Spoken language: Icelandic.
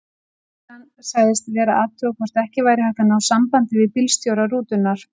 Lögreglan sagðist vera að athuga hvort ekki væri hægt að ná sambandi við bílstjóra rútunnar.